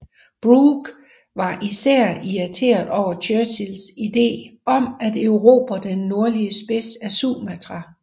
Brooke var især irriteret over Churchills ide om at erobre den nordlige spids af Sumatra